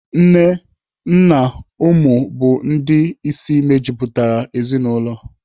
Nne, nna na ụmụ bụ ndị isi mejupụtara ezinaụlọ.